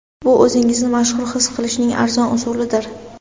Bu o‘zingizni mashhur his qilishning arzon usulidir.